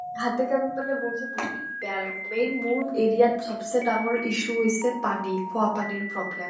হাতে কামে মানে মোৰ যে বিহুত বিয়া লাগে। main মোৰ area ত চব্চে ডাঙৰ issue হৈছে পানী। খোৱা পানীৰ problem